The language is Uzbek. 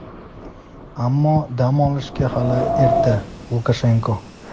ammo dam olishga hali erta – Lukashenko.